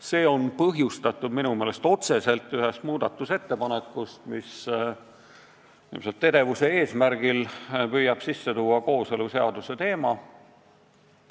See on minu meelest otseselt põhjustatud ühest muudatusettepanekust, mis ilmselt edevuse eesmärgil püüab sisse tuua kooseluseaduse teemat.